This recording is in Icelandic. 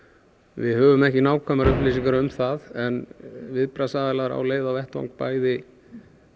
við höfum ekki nákvæmar upplýsingar um það en viðbragðsaðilar á leið á vettvang bæði